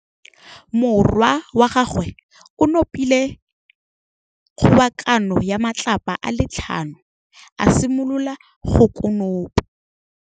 Morwa wa gagwe o nopile kgobokanô ya matlapa a le tlhano, a simolola go konopa.